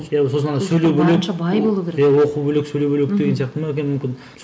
сосын ана сөйлеу бөлек оқу бөлек сөйлеу бөлек деген сияқты ма екен мүмкін